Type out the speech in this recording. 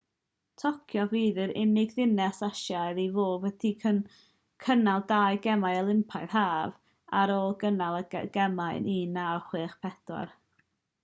tokyo fydd yr unig ddinas asiaidd i fod wedi cynnal dau gemau olympaidd haf ar ôl cynnal y gemau yn 1964